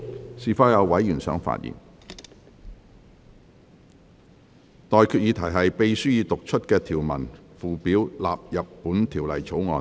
我現在向各位提出的待決議題是：秘書已讀出的條文及附表納入本條例草案。